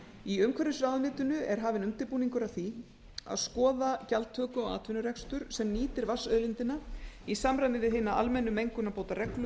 í umhverfisráðuneytinu er hafinn undirbúningur að því að skoða gjaldtöku á atvinnurekstur sem nýtir vatnsauðlindina í samræmi við hina almennu mengunarbótareglu